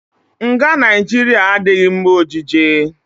Nga Naijiria adịghị mma ọjije.